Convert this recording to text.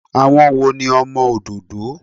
Àwọn wo ni ọmọ òdòdó?